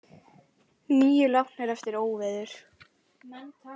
Níu látnir eftir óveður